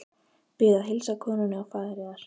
Bið að heilsa konunni og faðir yðar.